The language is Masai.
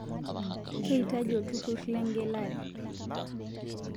Keitaji olturur lengelare